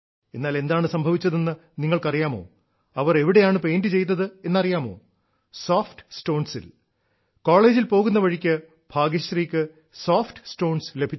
എന്നാൽ എന്താണ് സംഭവിച്ചതെന്ന് നിങ്ങൾക്ക് അറിയാമോ അവർ എവിടെയാണ് പെയ്ന്റ് ചെയ്തത് എന്ന് അറിയാമോ സോഫ്റ്റ് സ്റ്റോൺസിൽ കോളേജിൽ പോകുന്ന വഴിക്ക് ഭാഗ്യശ്രീക്ക് സോഫ്റ്റ് സ്റ്റോൺസ് ലഭിച്ചു